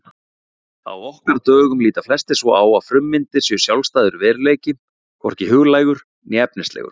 Á okkar dögum líta flestir svo að frummyndirnar séu sjálfstæður veruleiki, hvorki huglægur né efnislegur.